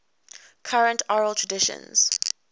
current oral traditions